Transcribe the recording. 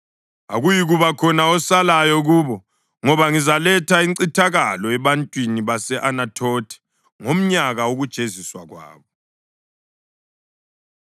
Akuyikuba khona osalayo kubo, ngoba ngizaletha incithakalo ebantwini base-Anathothi ngomnyaka wokujeziswa kwabo.”